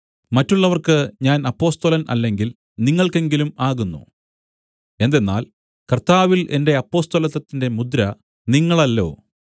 മറ്റുള്ളവർക്ക് ഞാൻ അപ്പൊസ്തലൻ അല്ലെങ്കിൽ നിങ്ങൾക്കെങ്കിലും ആകുന്നു എന്തെന്നാൽ കർത്താവിൽ എന്റെ അപ്പൊസ്തലത്വത്തിന്റെ മുദ്ര നിങ്ങളല്ലോ